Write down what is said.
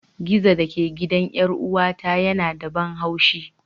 Gizo da ke gidan 'yar'uwata yana da ban haushi.